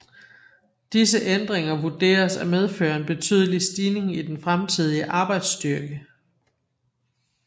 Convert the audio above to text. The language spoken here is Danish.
Disse ændringer vurderes at medføre en betydelig stigning i den fremtidige arbejdsstyrke